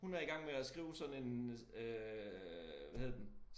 Hun er i gang med at skrive sådan en øh hvad hedder den